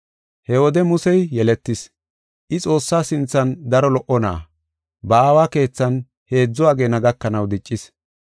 “He wode Musey yeletis; I Xoossaa sinthan daro lo77o na7a. Ba aawa keethan heedzu ageena gakanaw diccis.